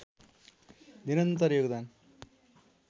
निरन्तर योगदान